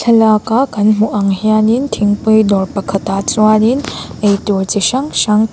thlalak a kan hmuh ang hianin thingpui dawr pakhatah chuanin ei tur chi hrang hrang--